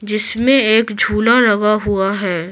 जिसमें एक झूला लगा हुआ है।